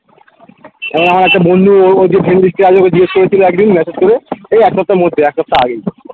আমার একটা বন্ধু ওর ওর যে friend list এ আছে ওকে জিগেস করেছিল একদিন message করে এই এক সপ্তাহের মধ্যে এক সপ্তাহ আগেই